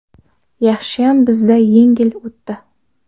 Yaxshiyam bizda yengil o‘tdi.